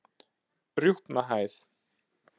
Rjúpnahæð